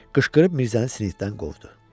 Qışqırıb Mirzəni sinifdən qovdu.